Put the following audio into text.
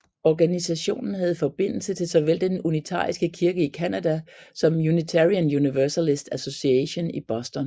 Organisationen havde forbindelse til såvel den unitariske kirke i Canada som Unitarian Universalist Association i Boston